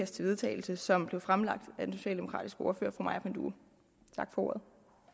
til vedtagelse som blev fremsat af den socialdemokratiske ordfører fru maja panduro tak for ordet